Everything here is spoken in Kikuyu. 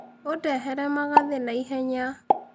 ũndehere magathĩ na ihenya.